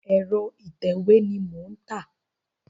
Ẹ̀rọ ìtẹ̀wé ni mò ń tà.